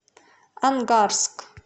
ангарск